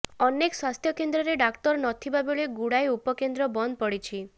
ଅନେକ ସ୍ୱାସ୍ଥ୍ୟକେନ୍ଦ୍ରରେ ଡାକ୍ତର ନଥିବା ବେଳେ ଗୁଡାଏ ଉପକେନ୍ଦ୍ର ବନ୍ଦ ପଡିଛି